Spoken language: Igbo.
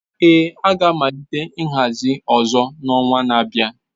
Ee, a ga-amalite nhazi ọzọ n'ọnwa na-abịa